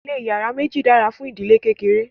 ilé iyàrá méjì dára fún ìdílé kékeré